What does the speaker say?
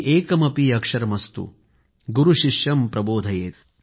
एकमपि अक्षरमस्तु गुरूः शिष्यं प्रबोधयेत्